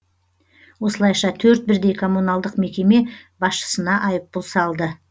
осылайша төрт бірдей коммуналдық мекеме басшысына айыппұл салды